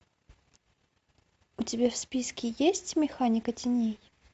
у тебя в списке есть механика теней